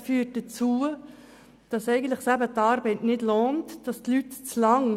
Das führt dazu, dass es sich eigentlich nicht lohnt zu arbeiten lohnt.